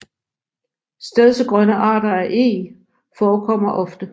Stedsegrønne arter af Eg forekommer ofte